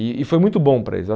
E e foi muito bom para eles.